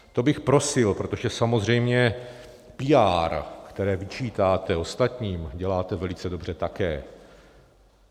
To bych prosil, protože samozřejmě píár, které vyčítáte ostatním, děláte velice dobře také.